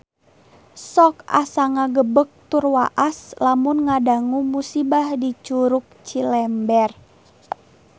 Sok asa ngagebeg tur waas lamun ngadangu musibah di Curug Cilember